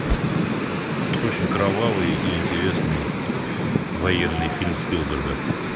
очень кровавый и интересный военный фильм спилберга